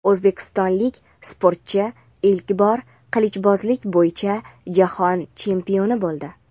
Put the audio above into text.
O‘zbekistonlik sportchi ilk bor qilichbozlik bo‘yicha jahon chempioni bo‘ldi.